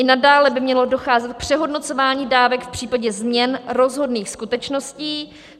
I nadále by mělo docházet k přehodnocování dávek v případě změn rozhodných skutečností.